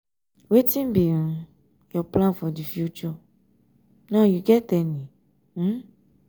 wetin be um your plan for di future um now you get any? um